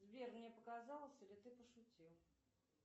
сбер мне показалось или ты пошутил